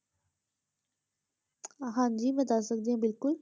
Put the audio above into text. ਹਾਂਜੀ ਮੈਂ ਦੱਸ ਸਕਦੀ ਹਾਂ ਬਿਲਕੁਲ